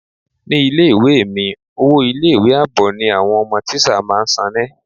Ní ilé ìwé è mi, owó ilé ìwé àbọ̀ ni àwọn ọmọ tíṣà máa ń sane.